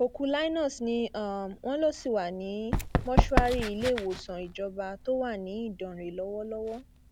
òkú linus ni um wọn lọ sí wa um ní mọṣúárì iléèwòsàn ìjọba tó wà ní ìdánrẹ lọwọlọwọ